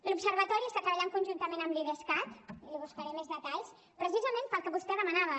l’observatori està treballant conjuntament amb l’idescat i n’hi buscaré més detalls precisament pel que vostè demanava